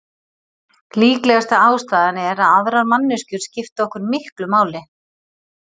Líklegasta ástæðan er að aðrar manneskjur skipta okkur miklu máli.